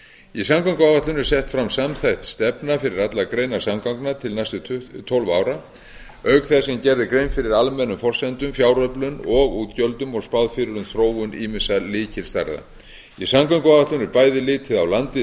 í samgönguáætlun er sett fram samþætt stefna fyrir allar greinar samgangna til næstu tólf ára auk þess sem gerð er grein fyrir almennum forsendum fjáröflun og útgjöldum og spáð fyrir um þróun ýmissa lykilstærða í samgönguáætlun er bæði litið á landið